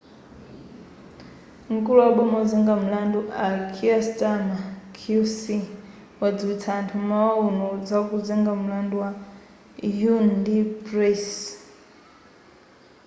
mkulu waboma ozenga milandu a kier starmer qc wadziwitsa anthu m'mawa uno za kuzenga mlandu a huhne ndi pryce